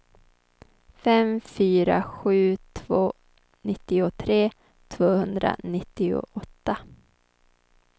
fem fyra sju två nittiotre tvåhundranittioåtta